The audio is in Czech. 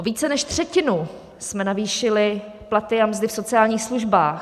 O více než třetinu jsme navýšili platy a mzdy v sociálních službách.